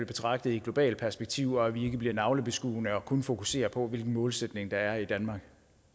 betragtet i et globalt perspektiv og at vi ikke bliver navlebeskuende og kun fokuserer på hvilken målsætning der er i danmark